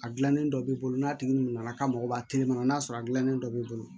A gilannen dɔ b'i bolo n'a tigi nana k'a mago b'a kelen kɔnɔ n'a sɔrɔ a gilannen dɔ b'i bolo